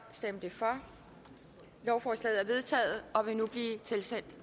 lovforslaget vedtaget og vil nu blive tilsendt